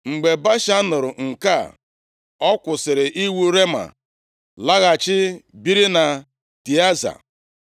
Mgbe Baasha nụrụ nke a, ọ kwụsịrị iwu Rema, laghachi biri na Tịaza.